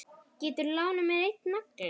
Geturðu lánað mér einn nagla.